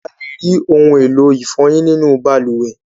alè rí òun èló ifoyin nínú balùwẹ̀